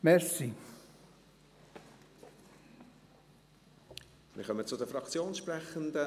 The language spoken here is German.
Wir kommen zu den Fraktionssprechenden.